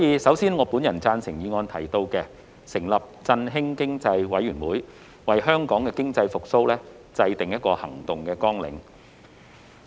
首先，我贊成議案中"成立振興經濟委員會，為疫後經濟復蘇制訂行動綱領"的建議。